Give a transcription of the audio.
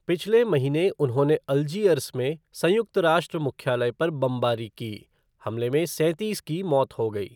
पिछले महीने उन्होंने अल्जीयर्स में संयुक्त राष्ट्र मुख्यालय पर बमबारी की, हमले में सैंतीस की मौत हो गई।